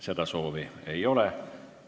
Seda soovi ei ole.